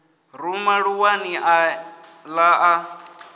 ruma ṱuwani a ḓa a